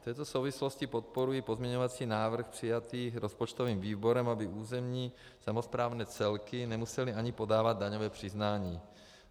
V této souvislosti podporuji pozměňovací návrh přijatý rozpočtovým výborem, aby územní samosprávné celky nemusely ani podávat daňové přiznání.